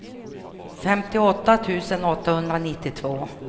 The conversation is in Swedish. femtioåtta tusen åttahundranittiotvå